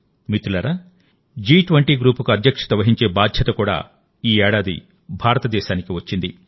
మిత్రులారాజి20 గ్రూప్కు అధ్యక్షత వహించే బాధ్యత కూడా ఈ ఏడాది భారతదేశానికి వచ్చింది